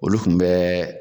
Olu kun bɛɛ